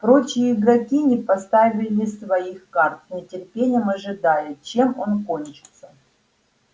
прочие игроки не поставили своих карт с нетерпением ожидая чем он кончит